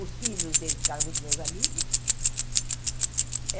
Os filhos deles ficaram muito meus amigos.